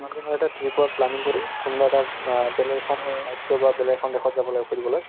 হৈ এটা trip ৰ planning কৰি কোনোবা এটা বা বেলেগ এখন ৰাজ্য বা বেলেগ এখন দেশত যাব লাগে ফুৰিবলৈ